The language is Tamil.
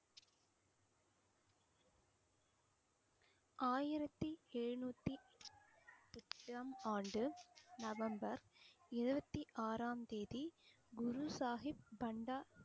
ஆயிரத்தி எழுநூத்தி எட்டாம் ஆண்டு நவம்பர் இருபத்தி ஆறாம் தேதி, குரு சாகிப் பண்டா